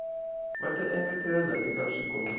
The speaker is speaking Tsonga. va ta engetela eka swikombiso